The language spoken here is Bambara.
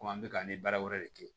Komi an bɛ ka ni baara wɛrɛ de kɛ